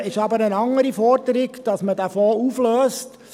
Das hier ist aber eine andere Forderung: dass man diesen Fonds auflöst.